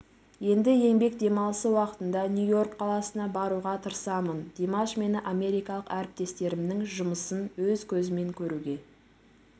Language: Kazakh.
енді еңбек демалысы уақытында нью-йорк қаласына баруға тырысамын димаш мені америкалық әріптестерімнің жұмысын өз көзіммен көруге